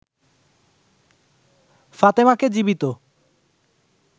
ফাতেমাকে জীবিত